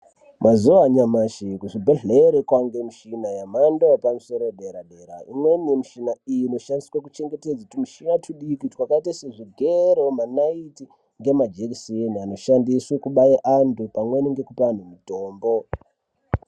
Mazuva anyamashi kuzvibhedhleya kwaane muchina yemhando yepamusodera dera imweni muchina iyi inoshandiswe kuichengetedza tumuchina tudiki takaita sezvigero manayithi majekiseni anoshandiswe kubata antu pamweni ngekupa antu mutombo